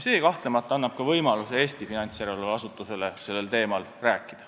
See kahtlemata annab ka Eesti finantsjärelevalveasutusele võimaluse sellel teemal rääkida.